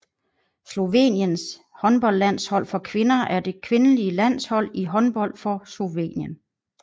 Sloveniens håndboldlandshold for kvinder er det kvindelige landshold i håndbold for Slovenien